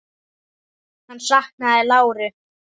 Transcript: Hann saknaði láru.